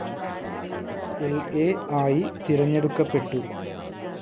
ൽ എ ആയി തിരഞ്ഞെടുക്കപ്പെട്ടു.